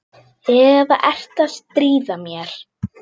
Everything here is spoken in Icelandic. Eða ertu að stríða mér?